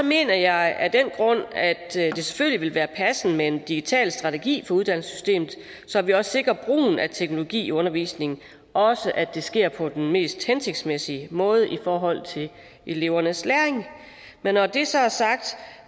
mener jeg af den grund at det selvfølgelig vil være passende med en digital strategi for uddannelsessystemet så vi også sikrer brugen af teknologi i undervisningen og også at det sker på den mest hensigtsmæssige måde i forhold til elevernes læring men når det så er sagt